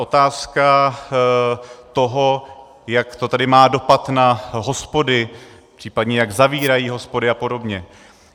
Otázka toho, jak to tedy má dopad na hospody, případně jak zavírají hospody a podobně.